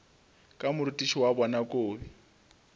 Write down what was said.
ka morutiši wa bona kobi